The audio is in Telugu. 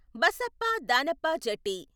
బసప్ప దానప్ప జట్టి